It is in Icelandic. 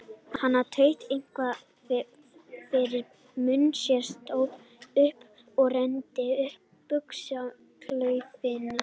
Hann tautaði eitthvað fyrir munni sér, stóð upp og renndi upp buxnaklaufinni.